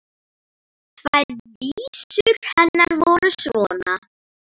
Tvær vísur hennar voru svona: